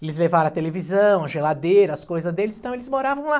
Eles levaram a televisão, a geladeira, as coisas deles, então eles moravam lá.